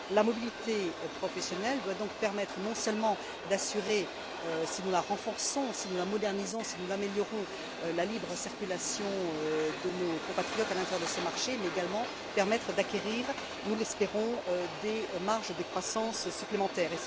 La mobilité professionnelle doit donc permettre, non seulement d'assurer, si nous la renforçons, si nous la modernisons, si nous l'améliorons, la libre circulation de nos compatriotes à l'intérieur de ce marché mais, également, permettre d'acquérir nous l'espérons des marges de croissance supplémentaires.